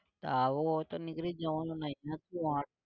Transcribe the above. આવું હોય તો નીકળી જ જવાનું ને